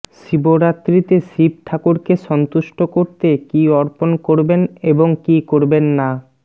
শিবরাত্রিতে শিব ঠাকুরকে সন্তুষ্ট করতে কী অর্পণ করবেন এবং কী করবেন না